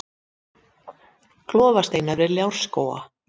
Klofasteinar við Ljárskóga